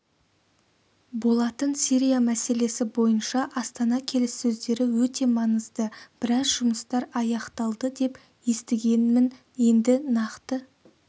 болатын сирия мәселесі бойынша астана келіссөздері өте маңызды біраз жұмыстар аяқталды деп естігенмін енді нақты